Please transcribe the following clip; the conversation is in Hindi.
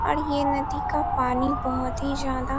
और ये नदी का पानी बहुत ही ज्यादा --